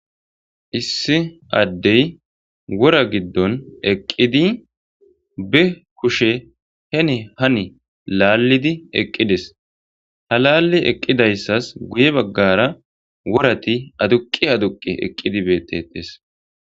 Issi addey wora giddon eqqidi be kushe hene hani laallidi eqqides halaalli eqqidayssas guye baggara worati aduqi aduqi eqqidi beettetes.